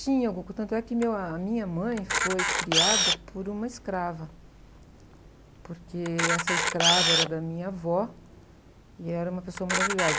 Tanto é que, a minha mãe foi criada por uma escrava, porque essa escrava era da minha avó e era uma pessoa maravilhosa.